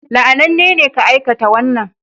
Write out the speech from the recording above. La'ananne ne ka aikata wannan